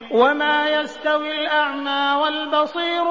وَمَا يَسْتَوِي الْأَعْمَىٰ وَالْبَصِيرُ